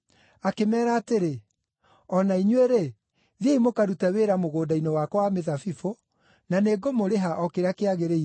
Akĩmeera atĩrĩ, ‘O na inyuĩ-rĩ, thiĩi mũkarute wĩra mũgũnda-inĩ wakwa wa mĩthabibũ, na nĩngũmũrĩha o kĩrĩa kĩagĩrĩire.’